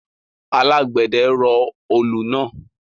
Alágbẹ̀dẹ rọ olù náà